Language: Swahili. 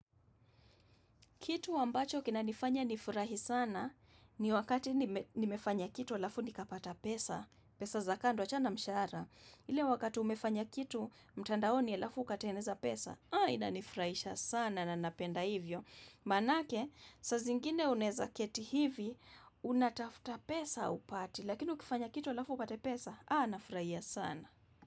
Kitu ambacho kinanifanya nifurahi sana ni wakati nimefanya kitu alafu nikapata pesa. Pesa za kando achana na mshara. Ile wakati umefanya kitu mtandaoni alafu ukateneza pesa. Haa inanifuraisha sana na napenda hivyo. Maanake saa zingine unaweza keti hivi unatafta pesa upati. Lakini ukifanya kitu alafu upate pesa. Haa nafuraia sana.